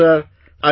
Thank you sir